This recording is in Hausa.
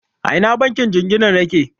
A ina bankin jingina yake?